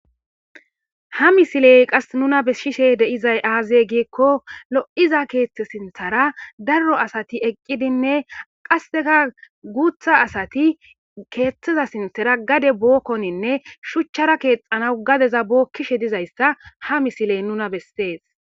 Ha misiley qas nuna besishe dizay aaze giikko lo'iza keeththe sinthara daro asati eqqidinne qasseka guutha asati keeththeza sinthara gade bookkoninne shuchchara keexanaw gadeza bookkishe dizayssa ha misiley nuna bessees.